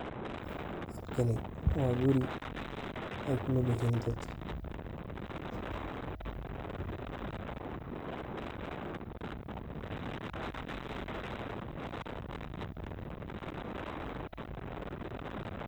Halkani waa guri ee kunolyihin dad.